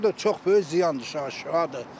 O da çox böyük ziyandır uşağa, şüadır.